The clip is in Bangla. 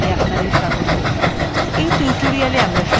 in tutorialwe আমরা শিখব